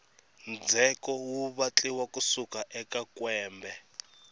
ndzheko wu vatliwa wu suka ka kwembe